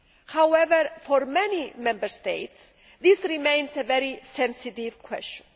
However, for many Member States this remains a very sensitive question.